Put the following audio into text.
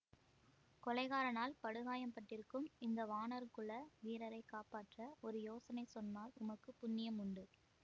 கொலைகாரனால் படுகாயம் பட்டிருக்கும் இந்த வாணர் குல வீரரை காப்பாற்ற ஒரு யோசனை சொன்னால் உமக்கு புண்ணியம் உண்டு